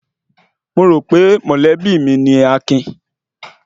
Mo rò wípé mọ̀lẹ́bí mi ni Akin